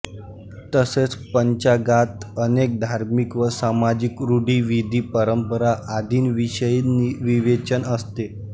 तसेच पंचांगात अनेक धार्मिक व सामाजिक रुढीविधीपरंपरा आदींविषयी विवेचन असते